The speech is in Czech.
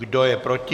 Kdo je proti?